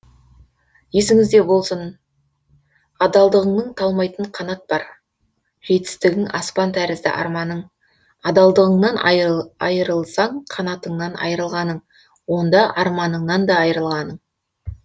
есіңіз де болсын адалдығыңның талмайтын қанат бар жетістігің аспан тәрізді арманың адалдығыңнан айырылсаң қанатыңнан айырылғаның онда арманыңнан да айырылғаның